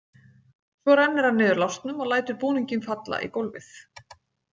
Svo rennir hann niður lásnum og lætur búninginn falla í gólfið.